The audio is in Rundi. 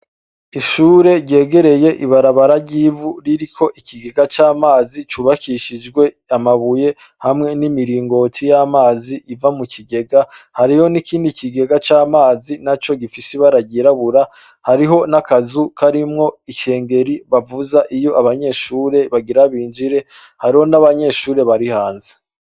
Ishure ryegereye ibarabara ry’ivu ririko ikigega c’amazi cubakishijwe amabuye hamwe n’imiringoti y’amazi iva mu kigega. Hariyo n’ikindi kigega c’amazi naco gifise ibara ry’irabura. Hariho n’akazu karimwo ikengeri bavuza iyo abanyeshure bagira binjire. Hariho n’abanyeshure bari hanze.